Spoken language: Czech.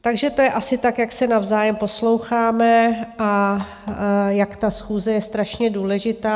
Takže to je asi tak, jak se navzájem posloucháme a jak ta schůze je strašně důležitá.